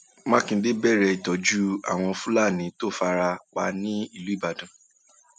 mákindé bẹrẹ ìtọjú àwọn fúlàní tó fara pa nìbàdàn